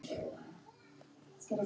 Í gamla daga.